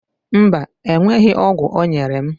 Mba, enweghị ọgwụ ọ nyere m